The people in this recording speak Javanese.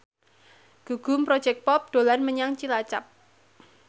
Gugum Project Pop dolan menyang Cilacap